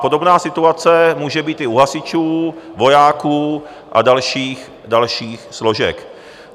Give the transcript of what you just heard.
Podobná situace může být i u hasičů, vojáků a dalších složek.